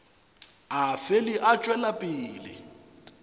a fele a tšwela pele